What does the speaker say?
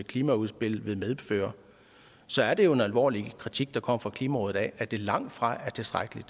klimaudspil vil medføre så er det jo en alvorlig kritik der kommer fra klimarådet altså af at det langtfra er tilstrækkeligt